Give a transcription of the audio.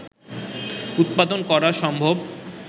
উৎপাদন করা সম্ভব